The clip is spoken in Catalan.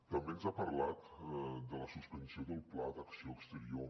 també ens ha parlat de la suspensió del pla d’acció exterior